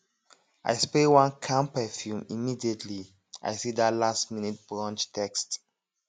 i spray one calm perfume immediately i see that lastminute brunch text